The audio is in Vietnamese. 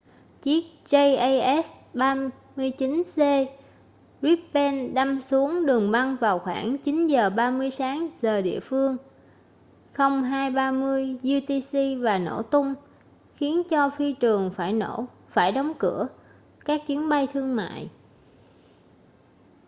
chiếc jas 39c gripen đâm xuống đường băng vào khoảng 9:30 sáng giờ địa phương 0230 utc và nổ tung khiến cho phi trường phải đóng cửa các chuyến bay thương mại